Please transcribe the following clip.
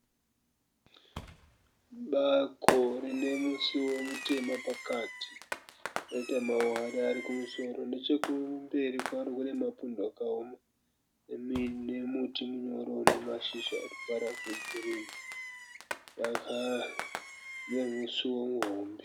Bako rine musuwo mutema pakati roita maware ari kumusoro. Nechekumberi kwaro kune mapundo akaoma nemuti munyoro une mashizha ane ruvara rwegirinhi. Rine musuwo muhombe.